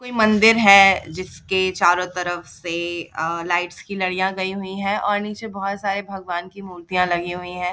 कोई मंदिर है जिसके चारो तरफ से अ लाइट्स की लड़िया गई हुई है और नीचे बहुत सारे भगवान की मूर्तियाँ लगी हुई हैं ।